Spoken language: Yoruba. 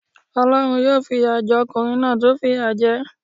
Olórun yóò fi ìyà je okùnrin náà tí ó fìyà je é